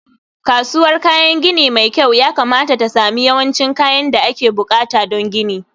kasuwar kayan gini mai kyau yakamata ta sami yawancin kayan da ake buƙata don gini